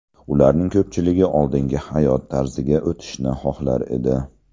Ularning ko‘pchiligi oldingi hayot tarziga o‘tishni xohlar edi.